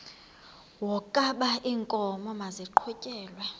wokaba iinkomo maziqhutyelwe